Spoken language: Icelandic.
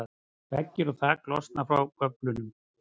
veggir og þak losna frá göflunum